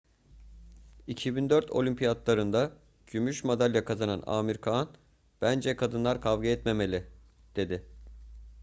2004 olimpiyatlarında gümüş madalya kazanan amir khan bence kadınlar kavga etmemeli dedi